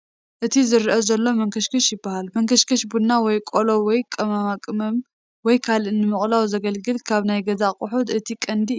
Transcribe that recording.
እቲ ዝርአ ዘሎ መንከሽከሽ ይበሃል፡፡ መንከሽከሽ ቡና ወይ ቆላ ወይ ቅመማ ቅመም ወይ ካልእ ንምቕላው ዘገልግል ካብ ናይ ገዛ ኣቁሑ እቲ ቀንዲ እዩ፡፡